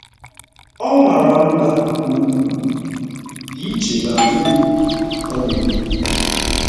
“ Ọ mara mma nke ukwuu, dị iche na di m, ” ọ na-ekwu.